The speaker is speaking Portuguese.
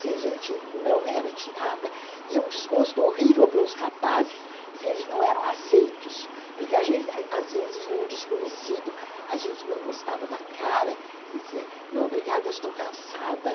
se a gente não era tirada, e um desgosto horrível para os rapazes se eles não eram aceitos, porque às vezes vinha um desconhecido, a gente não gostava da cara, dizia, não, obrigada, estou cansada.